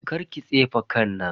Karki tsefe kan nan.